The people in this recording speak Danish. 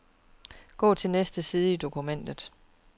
Gå til næste side i dokumentet.